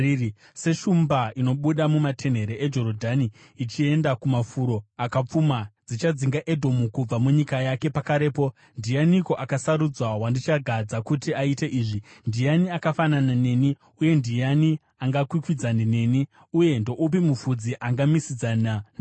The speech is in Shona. “Seshumba inobuda mumatenhere eJorodhani ichienda kumafuro akapfuma, ndichadzinga Edhomu kubva munyika yake pakarepo. Ndianiko akasarudzwa wandichagadza kuti aite izvi? Ndiani akafanana neni uye ndiani angakwikwidzane neni? Uye ndoupi mufudzi angamisidzana neni?”